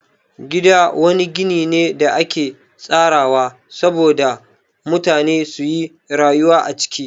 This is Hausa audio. Gida wani gini ne da ake tsarawa sabo da mutane suyi rayuwa a ciki